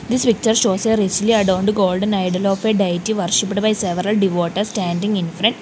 this picture shows a recently adorned golden idol of a diety worshipped by several devotees standing infront.